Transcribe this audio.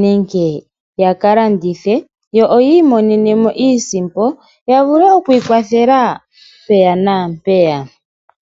nenge yakalandithe yo oyimonenemo iisimpo yavule okwikwathela peya napeya.